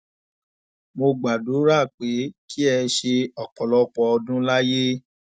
mo gbàdúrà pé kí ẹ ṣe ọpọlọpọ ọdún láyé